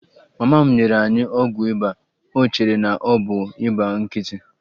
Mama m nyere ya ọgwụ ịba, o chere na ọ bụ ịba nkịtị.